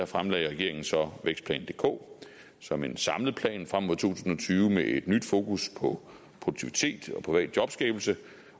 fremlagde regeringen så vækstplan dk som en samlet plan frem mod to tusind og tyve med et nyt fokus på produktivitet og privat jobskabelse